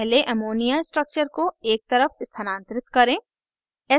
पहले ammonia structure को एक तरफ स्थानांतरित करें